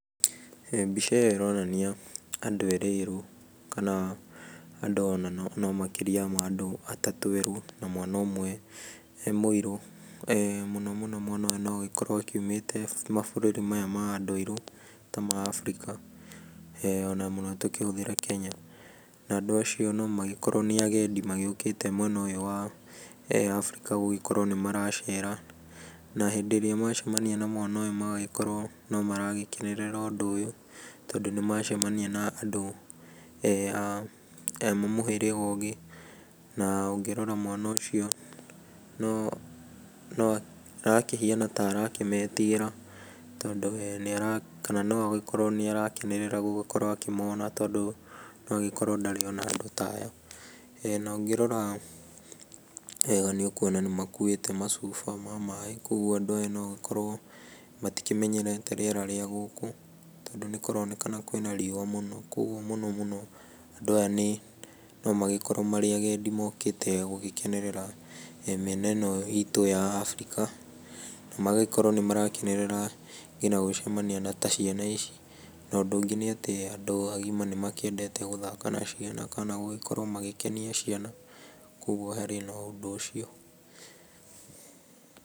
Mbica ĩyo ĩronania andũ eerĩ erũ, kana andũ ona no makĩria ma andũ atatũ erũ, na mwana ũmwe mũirũ. Mũno mũno mwana ũyũ no agĩkorwo aumĩte mabũrũri maya ma andũ airũ ta ma Afrika, ona mũno tũkĩhũthĩre Kenya. Na andũ acio no magĩkorwo nĩ agendi magĩũkĩte mwena ũyũ wa Afrika gũgĩkorwo nĩ maracera. Na hĩndĩ ĩrĩa macemania na mwana ũyũ magagĩkorwo no maragĩkenerera ũndũ ũyũ tondũ nĩ macemania na andũ a mũhĩrĩga ũngĩ, na ũngĩrora mwana ũcio no arakihiana ta arakĩmetigĩra tondũ no agĩkorwo nĩ arakenerera gũgĩkorwo akĩmona tondũ no agĩkorwo ndarĩ ona andũ ta aya. Na ũngĩrora nĩ ũkuona nĩ makuuĩte macuba ma maaĩ, kogwo andũ aya no magĩkorwo matikĩmenyerete rĩera rĩa gũkũ tondũ nĩ kũronekana kwĩ na rĩũa mũno, kogwo mũno mũno andũ aya no magĩkorwo marĩ agendi mokĩte gũgĩkenerera mĩena ĩno itũ ya Afrika, na magagĩkorwo nĩ marakenerera nginya gũcamania na ta ciana ici. Na ũndũ ũngĩ ni atĩ andũ agima nĩ makĩendete gũthaka na ciana kana gũgĩkorwo magĩkenia ciana, kogwo harĩ na ũndũ ũcio.